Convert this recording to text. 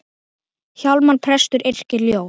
Hjálmar prestur yrkir ljóð.